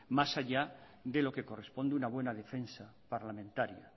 más allá de lo que corresponde una buena defensa parlamentaria